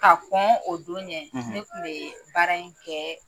K'a kɔn o don ɲɛ; ; Ne kun bɛ baara in kɛɛɛ